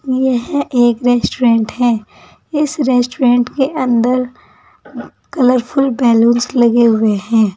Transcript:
यह एक रेस्टोरेंट है इस रेस्टोरेंट के अंदर कलरफुल बलूंस लगे हुए हैं।